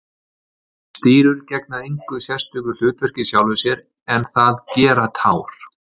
Stírur gegna engu sérstöku hlutverki í sjálfu sér en það gera tár.